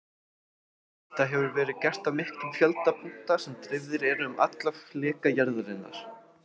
Þetta hefur verið gert á miklum fjölda punkta sem dreifðir eru um alla fleka jarðarinnar.